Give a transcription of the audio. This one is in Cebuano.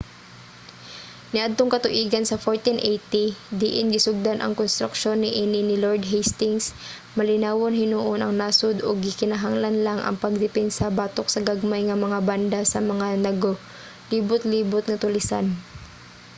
niadtong katuigan sa 1480 diin gisugdan ang konstruksyon niini ni lord hastings malinawon hinuon ang nasod ug gikinahanglan lang ang pagdepensa batok sa gagmay nga mga banda sa mga nagalibotlibot nga tulisan